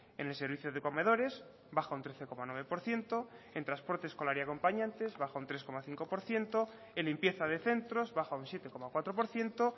en el servicio de comedores baja un trece coma nueve por ciento en transporte escolar y acompañantes baja un tres coma cinco por ciento en limpieza de centros baja un siete coma cuatro por ciento